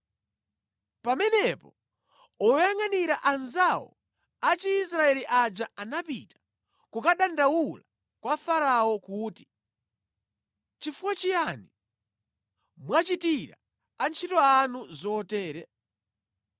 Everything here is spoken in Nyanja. Pamenepo oyangʼanira anzawo a Chiisraeli aja anapita kukadandaula kwa Farao kuti, “Chifukwa chiyani mwachitira antchito anu zotere?